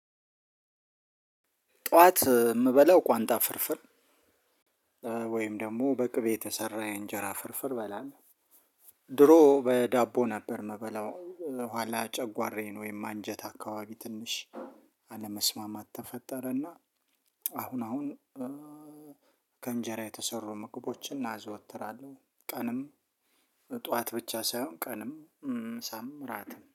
ጠዋት የምበላው ቋንጣ ፍርፍር ወይም ደግሞ በቅቤ የተሰራ የእንጀራ ፍርፍር እበላል ድሮ በዳቦ ነበር ምበላው ኋላ ጨጓሬን ወይም አንጀት አካባቢ ትንሽ አለመስማማት ተፈጠረና አሁን አሁን ከእንጀራ የተሰሩ ምግቦችን አዘወትራለሁ። ቀን፣ ጠዋት ብቻ ሳይሆን ቀንም፣ ምሳም እራትም